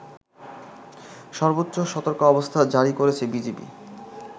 সর্বোচ্চ সতর্কাবস্থা জারি করছে বিজিবি